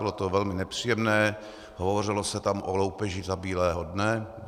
Bylo to velmi nepříjemné, hovořilo se tam o loupeži za bílého dne.